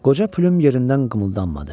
Qoca Pylum yerindən qımıldanmadı.